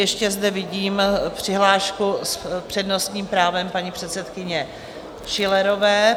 Ještě zde vidím přihlášku s přednostním právem paní předsedkyně Schillerové.